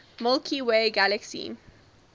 milky way galaxy